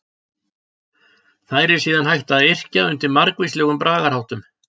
Þær er síðan hægt að yrkja undir margvíslegum bragarháttum.